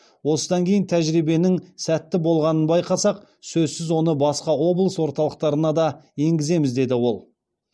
осыдан кейін тәжірибенің сәтті болғанын байқасақ сөзсіз оны басқа облыс орталықтарына да енгіземіз деді ол